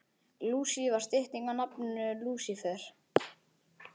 Lúsi var stytting á nafninu Lúsífer.